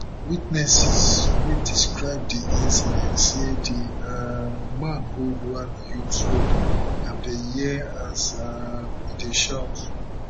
witnesses wey describe di incident say di um man hold one huge sword and dem hear as um e dey shout